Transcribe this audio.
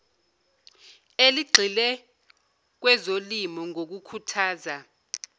eligxile kwezolimo ngokukhuthaza